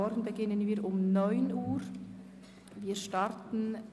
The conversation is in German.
Wir werden um 9.00 Uhr mit dem Themenblock 10.i Kultur starten.